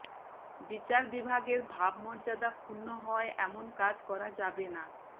বিচার বিভাগের ভাবমর্যাদা ক্ষুণ্ণ হয় এমন কাজ করা যাবে না